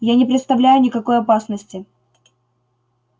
я не представляю никакой опасности